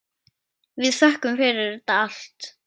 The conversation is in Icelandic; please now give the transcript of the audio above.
Við þökkum fyrir þetta allt.